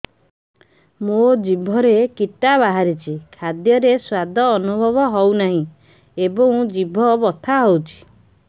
ମୋ ଜିଭରେ କିଟା ବାହାରିଛି ଖାଦ୍ଯୟରେ ସ୍ୱାଦ ଅନୁଭବ ହଉନାହିଁ ଏବଂ ଜିଭ ବଥା ହଉଛି